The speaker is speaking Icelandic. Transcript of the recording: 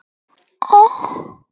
Hver næst?